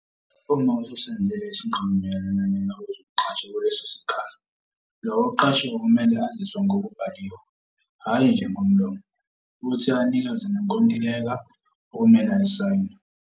Uma ususenzile isinqumo mayelana nalowo ozomqasha kuleso sikhala, lowo oqashiwe kumele aziswe ngokubhaliwe, hhayi nje ngomlomo, futhi anikezwe nenkontileka okumele ayisayinde.